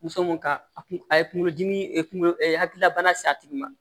Muso mun ka a kun a ye kunkolo dimi kunkolo hakilila bana se a tigi ma